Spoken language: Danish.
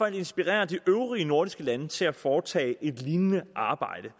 at inspirere de øvrige nordiske lande til at foretage et lignende arbejde